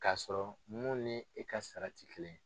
Ka sɔrɔ mun ni e ka sara ti kelen ye.